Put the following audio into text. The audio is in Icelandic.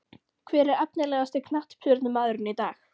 Hver er efnilegasti knattspyrnumaðurinn í dag?